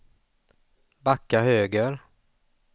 backa höger